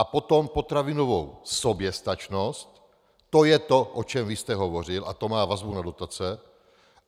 A potom potravinovou soběstačnost, to je to, o čem vy jste hovořil, a to má vazbu na dotace.